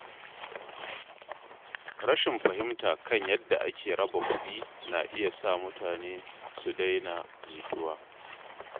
Rashin fahimta kan yadda ake raba kuɗi na iya sa mutane su daina jituwa.